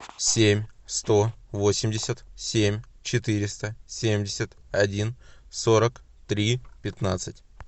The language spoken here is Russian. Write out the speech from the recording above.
семь сто восемьдесят семь четыреста семьдесят один сорок три пятнадцать